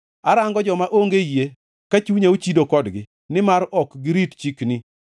Arango joma onge yie ka chunya ochido kodgi, nimar ok girit chikni.